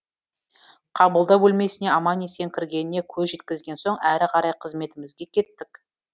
қабылдау бөлмесіне аман есен кіргеніне көз жеткізген соң әрі қарай қызметімізге кеттік